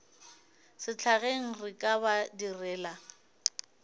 sehlageng re ka ba direla